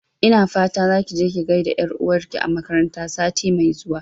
Ina fata zaki je ki gaida ƴar'uwar ki a makaranta sati mai zuwa